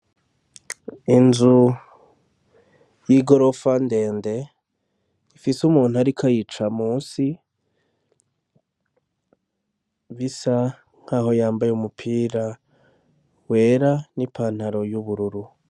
Inzu y'igorofa ndende ifise umuntu ariko ayica musi, bisa nkaho yambaye umupira wera n'ipantaro y'ubururu.